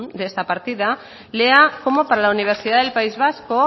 de esta partida lea cómo para la universidad del país vasco